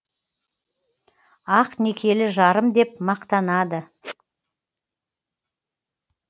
ақ некелі жарым деп мақтанады